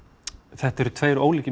þetta eru tveir ólíkir